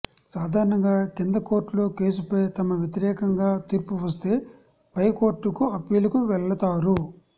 సాధారణంగా కింద కోర్టులో కేసుపై తమ వ్యతిరేకంగా తీర్పు వస్తే పైకోర్టుకు అప్పీలుకు వెళ్ళతారు